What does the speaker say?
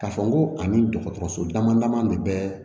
K'a fɔ ko ani dɔgɔtɔrɔso dama dama de bɛ